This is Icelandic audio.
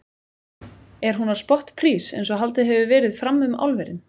Er hún á spottprís eins og haldið hefur verið fram um álverin?